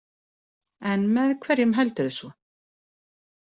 En með hverjum heldurðu svo?